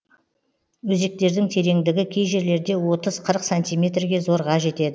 өзектердің тереңдігі кей жерлерде отыз қырық сантиметрге зорға жетеді